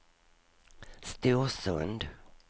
Storsund